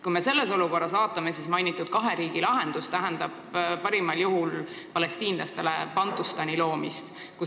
Kui me nüüd seda olukorda vaatame, siis tundub, et kahe riigi lahendus tähendab palestiinlastele parimal juhul mingi Bantustani loomist.